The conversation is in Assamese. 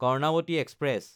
কৰ্ণাৱতী এক্সপ্ৰেছ